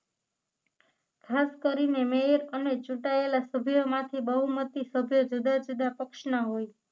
ખાસ કરીને મેયર અને ચૂંટાયેલા સભ્યોમાંથી બહુમતી સભ્યો જુદા જુદા પક્ષના હોય છે